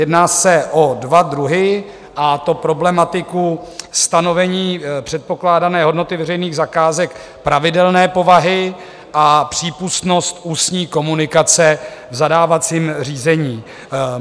Jedná se o dva druhy, a to problematiku stanovení předpokládané hodnoty veřejných zakázek pravidelné povahy a přípustnost ústní komunikace v zadávacím řízení.